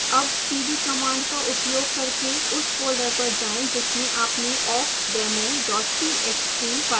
अब cd command का उपयोग करके उस folder पर जाएं जिसमें आपने awkdemo txt file सेव की है